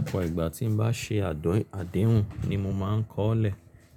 Ọ̀pọ̀ ìgbà tí n bá ṣe àdéhùn ni mo máa ń kọ́ọ́lẹ̀